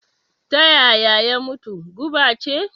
Ta yaya ya mutu? guba ce?